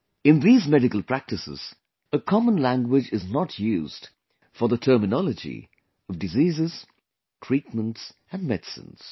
In these medical practices, a common language is not used for the terminology of diseases, treatments and medicines